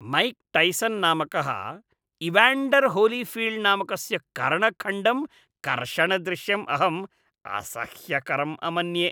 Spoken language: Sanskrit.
मैक् टैसन् नामकः इवाण्डर् होलीफील्ड् नामकस्य कर्णखण्डं कर्षणदृश्यम् अहम् असह्यकरम् अमन्ये।